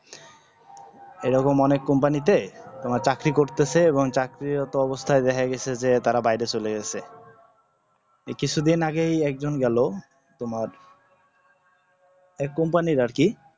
এরকম অনেক company তে তোমার চাকরি করতাসে এবংচাকরির এত অবস্তা দেখাগেসে তারা বাইরে চলে গেসে এই কিছুদিন আগেই একজন গেল তোমার এক company